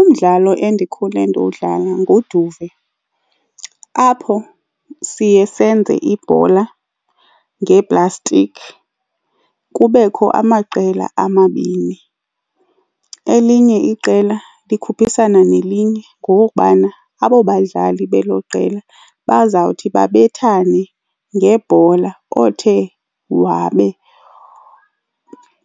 Umdlalo endikhule ndiwudlala nguduve apho siye senze ibhola ngeeplastiki, kubekho amaqela amabini. Elinye iqela likhuphisana nelinye ngokokubana abo badlali belo qela bazawuthi babethane ngebhola. Othe wabe